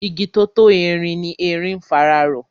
Igi tó tó erin ni erin ń fara rọ.